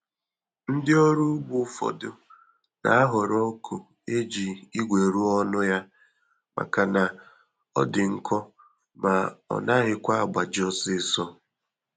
Ndị ọrụ ugbo ụfọdụ na-ahọrọ ọgụ eji igwe rụọ ọnụ ya maka na ọdi nkọ ma ọ naghịkwa agbaji ọsịsọ